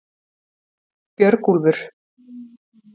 Björgúlfur